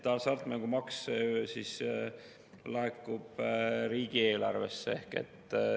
Hasartmängumaks laekub riigieelarvesse.